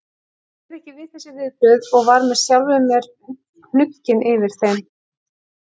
Ég réð ekki við þessi viðbrögð og var með sjálfum mér hnugginn yfir þeim.